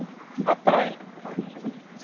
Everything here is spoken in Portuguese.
A praia.